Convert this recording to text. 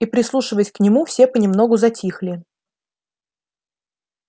и прислушиваясь к нему все понемногу затихли